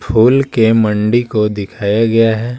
फूल के मंडी को दिखाया गया है।